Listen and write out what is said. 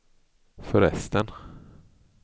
förresten